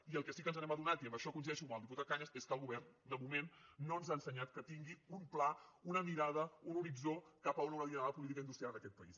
i del que sí que ens hem adonat i en això coincideixo amb el diputat cañas és que el govern de moment no ens ha ensenyat que tingui un pla una mirada un horitzó cap a on hauria d’anar la política industrial en aquest país